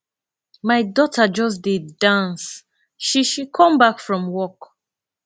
my daughter just dey dance she she come back from work